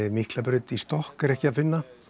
Miklabraut í stokk er ekki að finna